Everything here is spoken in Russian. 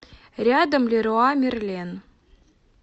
рядом леруа мерлен